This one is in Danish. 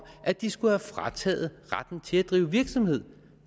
at de skulle have frataget retten til at drive virksomhed